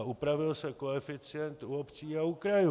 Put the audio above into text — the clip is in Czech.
A upravil se koeficient u obcí a u krajů.